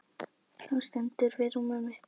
Hann stendur við rúmið mitt.